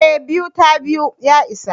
eh, 2 ta 2 ya isa